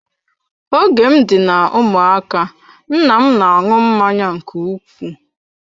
Oge m dị na ụmụaka nna m na-aṅụ mmanya nke ukwuu.